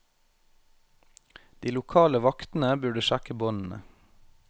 De lokale vaktene burde sjekke båndene.